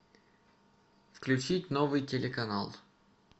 включить новый телеканал